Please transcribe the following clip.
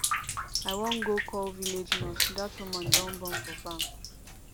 i wan go call village nurse dat woman don born for farm